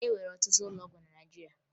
E nwere ọtụtụ ụlọ ọgwụ na Naịjirịa